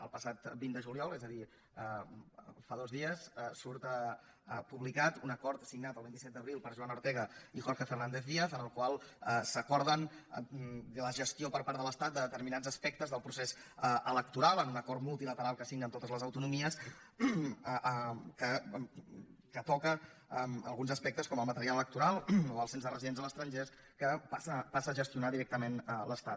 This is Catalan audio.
el passat vint de juliol és a dir fa dos dies surt publicat un acord signat el vint set d’abril per joana ortega i jorge fernández díaz en el qual s’acorda la gestió per part de l’estat de determinats aspectes del procés electoral en un acord multilateral que signen totes les autonomies que toca alguns aspectes com el material electoral o el cens de residents a l’estranger que passa a gestionar directament l’estat